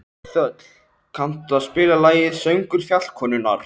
Þöll, kanntu að spila lagið „Söngur fjallkonunnar“?